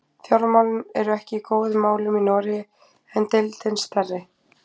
Fjármálin eru ekki í góðum málum í Noregi en deildin er stærri.